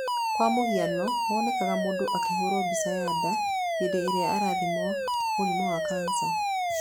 Kwa mũhiano, wonekanaga mũndũ akĩhũrwo mbica ya nda hĩndĩ ĩrĩa arathimwo mũrimũ wa kansa.